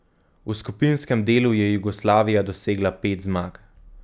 V skupinskem delu je Jugoslavija dosegla pet zmag.